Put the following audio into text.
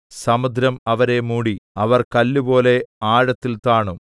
സമുദ്രം അവരെ മൂടി അവർ കല്ലുപോലെ ആഴത്തിൽ താണു